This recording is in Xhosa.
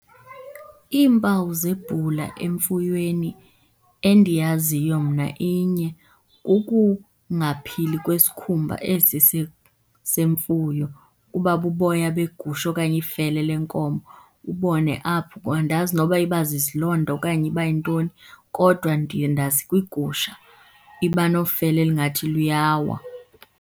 Iimpawu zebhula emfuyweni endiyaziyo mna inye, kukungaphili kwesikhumba esi semfuyo. Kuba buboya begusha okanye ifele lenkomo, ubone apho. Andazi noba iba zizilonda okanye iba yintoni kodwa ndiye ndazi kwigusha iba nofele elingathi luyawa.